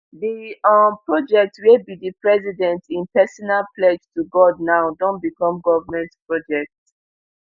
di um project wia be di president im personal pledge to god now don become goment project